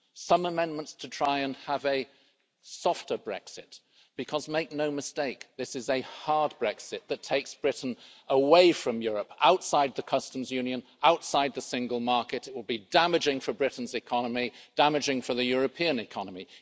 Some amendments to try and have a softer Brexit because, make no mistake, this is a hard Brexit that takes Britain away from Europe, outside the customs union, outside the single market, it will be damaging for Britain's economy, damaging for the European economy.